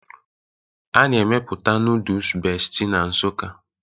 A na-emepụta noodus Bestie na Nsukka